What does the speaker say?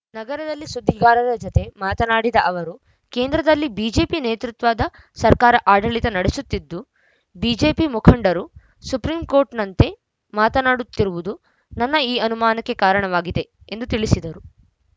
ನಗರದಲ್ಲಿ ಸುದ್ದಿಗಾರರ ಜತೆ ಮಾತನಾಡಿದ ಅವರು ಕೇಂದ್ರದಲ್ಲಿ ಬಿಜೆಪಿ ನೇತೃತ್ವದ ಸರ್ಕಾರ ಆಡಳಿತ ನಡೆಸುತ್ತಿದ್ದು ಬಿಜೆಪಿ ಮುಖಂಡರು ಸುಪ್ರೀಂಕೋರ್ಟ್‌ನಂತೆ ಮಾತನಾಡುತ್ತಿರುವುದು ನನ್ನ ಈ ಅನುಮಾನಕ್ಕೆ ಕಾರಣವಾಗಿದೆ ಎಂದು ತಿಳಿಸಿದರು